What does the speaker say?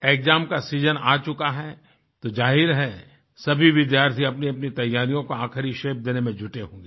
exam का season आ चुका है तो जाहिर है सभी विद्यार्थी अपनीअपनी तैयारियों का आखिरी शेप देने में जुटे होंगे